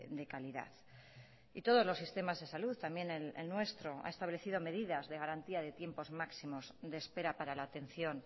de calidad y todos los sistemas de salud también el nuestro ha establecido medidas de garantía de tiempos máximos de espera para la atención